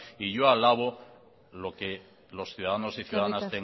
y yo alabo lo que los ciudadanos y ciudadanas